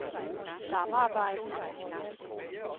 samarbejdet